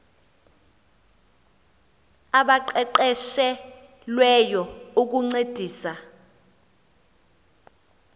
abaqeqeshe lweyo ukuncedisa